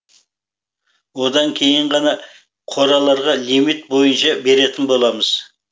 одан кейін ғана қораларға лимит бойынша беретін боламыз